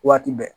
Waati bɛɛ